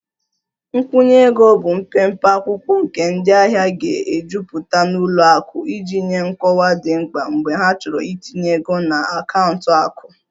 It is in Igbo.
Nkwụnye ego nkwụnye ego bụ mpempe akwụkwọ nke ndị ahịa ga-ejupụta na ụlọ akụ iji nye nkọwa dị mkpa mgbe ha chọrọ itinye ego na akaụntụ akụ